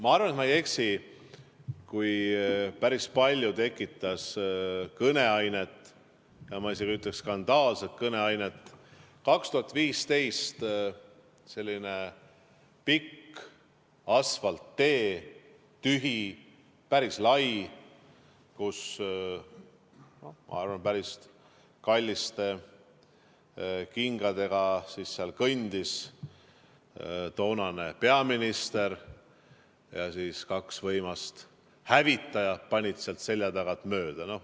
Ma arvan, et ma ei eksi, et päris palju tekitas kõneainet, ma isegi ütleks, et skandaalset kõneainet, 2015. aastal selline pikk asfalttee, tühi ja päris lai, kus ilmselt päris kallite kingadega kõndis toonane peaminister ja kaks võimsat hävitajat panid tal selja tagant mööda.